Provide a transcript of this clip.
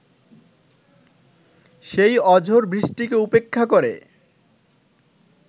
সেই অঝোর বৃষ্টিকে উপেক্ষা করে